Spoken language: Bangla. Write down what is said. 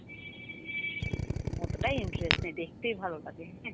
অতটা interest নেই দেখতেই ভালো লাগে।